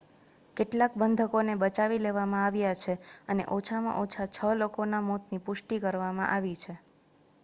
કેટલાક બંધકોને બચાવી લેવામાં આવ્યા છે અને ઓછામાં ઓછા છ લોકોના મોતની પુષ્ટિ કરવામાં આવી છે